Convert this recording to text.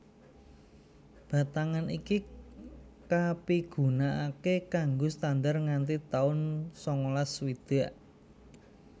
Batangan iki kapigunakaké kanggo standar nganti taun sangalas swidak